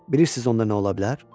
Bilirsiniz onda nə ola bilər?